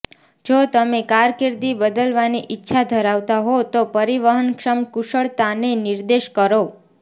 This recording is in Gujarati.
જો તમે કારકિર્દી બદલવાની ઇચ્છા ધરાવતા હો તો પરિવહનક્ષમ કુશળતાને નિર્દેશ કરો